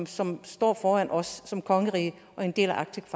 som står foran os som kongerige og en del af arctic